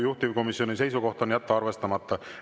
Juhtivkomisjoni seisukoht on jätta arvestamata.